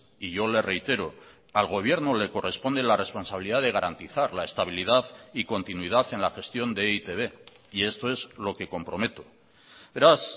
y yo le reitero al gobierno le corresponde la responsabilidad de garantizar la estabilidad y continuidad en la gestión de e i te be y esto es lo que comprometo beraz